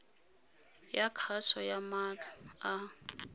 ya kgaso ya maatla a